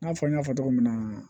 I n'a fɔ n y'a fɔ cogo min na